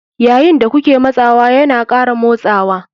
Yayin da kuke matsawa yana ƙara motsawa.